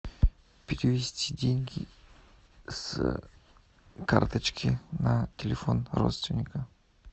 перевести деньги с карточки на телефон родственника